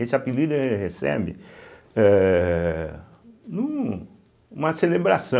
Esse apelido ele recebe eh num numa celebraçã